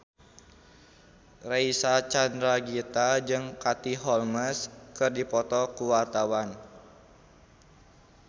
Reysa Chandragitta jeung Katie Holmes keur dipoto ku wartawan